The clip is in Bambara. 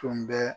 Tun bɛ